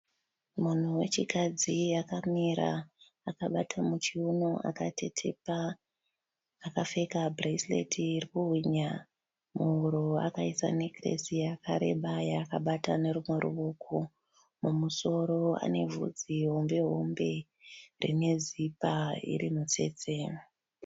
Munhu wechikadzi akamira akabata muchiuno akatetepa akapfeka "bracelet" riri kuhwinya muhuro akaisa "necklace" yakareba yaakabata nerumwe ruoko. Mumusoro ane bvudzi hombehombe rinezipa iri mitsetse.